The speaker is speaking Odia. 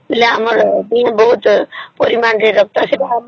ଖାଇଲେ ଆମର ଦେହରେ ବହୁତ ମାତ୍ର ରେ ରକ୍ତ ଶିବ ଆଉ